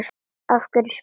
Af hverju spyrðu?